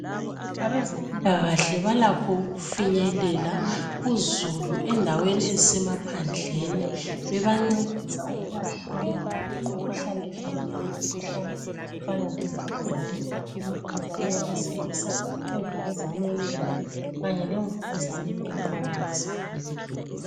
Abezempilakahle balakho ukufinyelela uzulu, endaweni ezisemaphandleni. Bebancedisa ukubahlola, imikhuhlane ehlukeneyo. Imikhuhlane efana lemvukuzane. Imvukuzane yabesilisa, imvukuzane yebele, kanye lemvukuzane yomlomo wesibeletho.